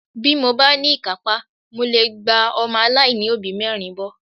Bí mo bá ní ìkápá, mo lè gba ọmọ aláìní òbí mẹ́rin bọ́